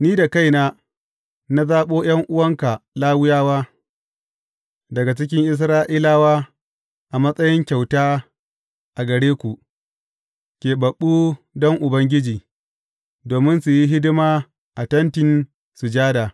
Ni da kaina na zaɓo ’yan’uwanka Lawiyawa daga cikin Isra’ilawa a matsayin kyauta a gare ku, keɓaɓɓu don Ubangiji, domin su yi hidima a Tentin Sujada.